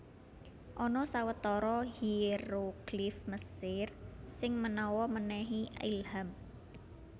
Ana sawetara hieroglif Mesir sing manawa mènèhi ilham